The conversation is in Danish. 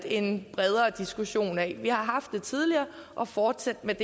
en bredere diskussion af i vi har haft det tidligere og fortsætte med